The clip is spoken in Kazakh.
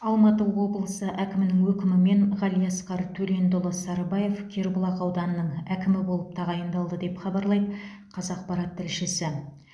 алматы облысы әкімінің өкімімен ғалиасқар төлендіұлы сарыбаев кербұлақ ауданының әкімі болып тағайындалды деп хабарлайды қазақпарат тілшісі